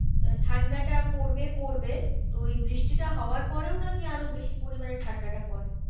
আহ ঠান্ডাটা পড়বে পড়বে তো ওই বৃষ্টিটা হওয়ার পরেও নাকি আরো বেশি পরিমানে ঠান্ডাটা পরে।